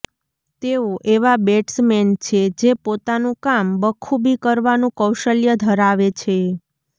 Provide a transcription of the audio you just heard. તેઓ એવા બેટ્સમેન છે જે પોતાનું કામ બખુબી કરવાનું કૌશલ્ય ધરાવે છે